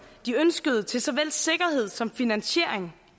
de ønskede til såvel sikkerhed som finansiering